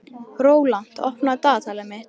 Rólant, opnaðu dagatalið mitt.